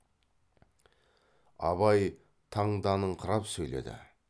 абай таңданыңқырап сөйледі